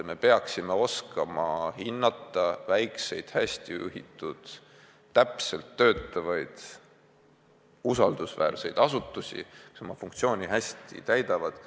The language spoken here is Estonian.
Me peaksime oskama hinnata väikeseid hästi juhitud ja täpselt töötavaid usaldusväärseid asutusi, kes oma funktsiooni hästi täidavad.